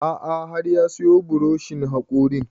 A'a har ya siyo buroshin haƙorin